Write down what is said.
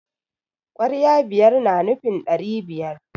kwarya biyar na nufin dari biyar